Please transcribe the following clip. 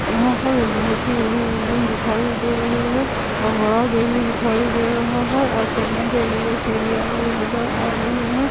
यहां पर बहुत ही बड़ी बिल्डिंग दिखाई दे रही है बड़ा घर भी दिखाई दे रहा है और चढ़ने के लिए सीढ़ियां भी नजर आ रहे है।